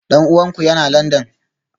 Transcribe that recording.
Dan uwanku yana Landan?